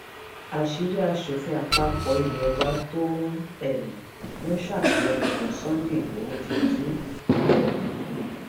àṣírí aṣòfin àpapọ ilé wa tó um ń ṣàtìlẹyìn fún sunday igbodò ti tú um